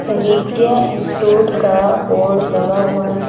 विद्या institute का board लगा हुआ--